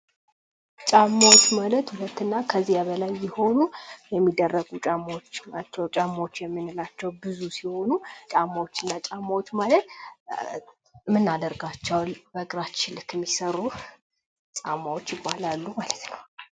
ጫማዎች ማለት ሁለትና ከዛ በላይ የሆኑ የሚደረጉ ጫማዎች ናቸው ጫማዎች የምንላቸው ብዙ ሲሆኑ ጫማዎችናዎች ማለት እምናደርጋቸው በእግራችን ልክ የሚሰሩ ጫማዎች ይባላሉ ማለት ነው።